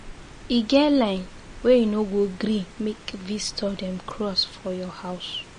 E get line wey you no go gree make visitor dem cross for your house.